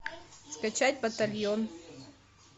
скачать батальон